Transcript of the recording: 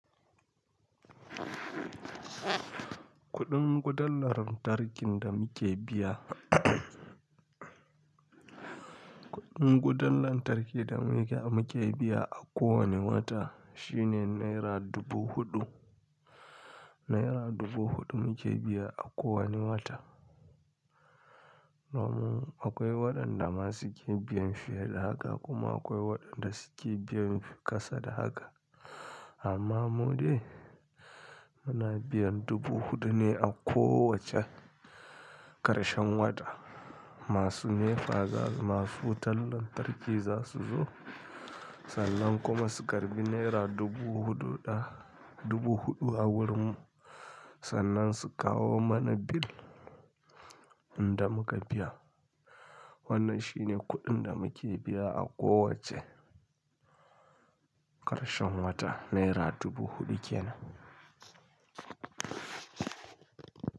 Kuɗin wutar lantarkin da muke biya kuɗin wutar lantarkin da muke biya a ko wane wata shine Naira dubu huɗu. Naira dubu huɗu muke biya a ko wane wata. Namu akwai waɗanda ma suke biyan fiye da haka kuma akwai waɗanda suke biyan kasa da haka. Amma mu dai muna biyan dubu huɗu ne a ko wacce ƙarshen wata. Masu NEPA zasu, masu wutar lantarki za su zo, sannan kuma su karɓi Naira dubu huɗu ɗa, dubu huɗu a wurin mu sannan su kawo mana bill inda muka biya. Wannan shi ne kuɗin da muke biya a kowacce ƙarshen wata Naira dubu huɗu kenan.